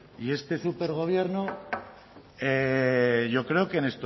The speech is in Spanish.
y este supergobierno yo creo que